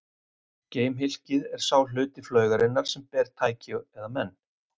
Geimhylkið er sá hluti flaugarinnar sem ber tæki eða menn.